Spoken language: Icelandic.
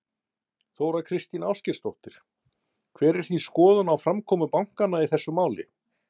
Þóra Kristín Ásgeirsdóttir: Hver er þín skoðun á framkomu bankanna í þessu máli?